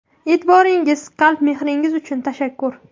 E’tiboringiz, qalb mehringiz uchun tashakkur!